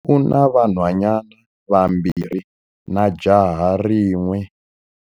U na vanhwanyana vambirhi na jaha rin'we.